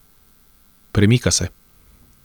Premika se.